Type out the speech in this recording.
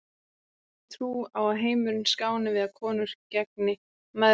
Kyngi trú á að heimurinn skáni við að konur gegni mæðrum sínum.